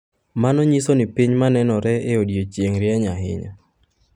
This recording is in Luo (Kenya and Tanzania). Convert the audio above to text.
Mano nyiso ni piny ma nenore e odiechieng’ rieny ahinya.